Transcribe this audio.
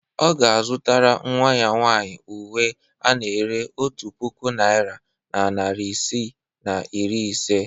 Ọ ga-azụrụ nnwa ya nwaanyị uwe ana-ere otu puku naira na narị isii na iri ise.